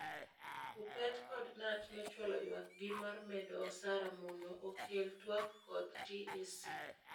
Kuppet kod Knut nochwalo ywak gi mar medo osara mono okel twak kod TSC.